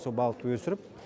сол балықты өсіріп